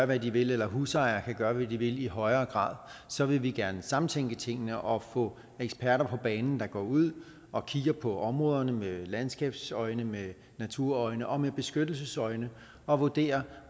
hvad de vil eller husejere kan gøre hvad de vil i højere grad så vil vi gerne samtænke tingene og få eksperter på banen der går ud og kigger på områderne med landskabsøjne med naturøjne og med beskyttelsesøjne og vurderer